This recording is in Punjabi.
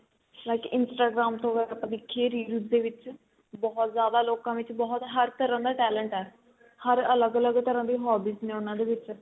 like Instagram ਹੋ ਗਿਆ ਆਪਾਂ ਦੇਖੀਏ reels ਦੇ ਵਿੱਚ ਬਹੁਤ ਜਿਆਦਾ ਲੋਕਾ ਵਿੱਚ ਬਹੁਤ ਹਰ ਤਰਾਂ ਦਾ talent ਏ ਹਰ ਅਲੱਗ ਅਲੱਗ ਤਰਾਂ ਦੀ hobbies ਨੇ ਉਹਨਾ ਵਿੱਚ